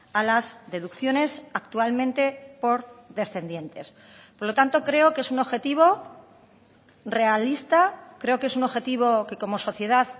a las deducciones actualmente por descendientes por lo tanto creo que es un objetivo realista creo que es un objetivo que como sociedad